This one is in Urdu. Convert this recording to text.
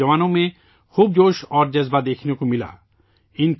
اس میں نوجوانوں میں بہت جوش اور ولولہ دیکھنے کو ملا